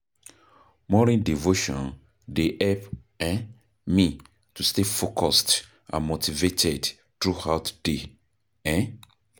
Morning devotion dey help um me to stay focused and motivated throughout day. um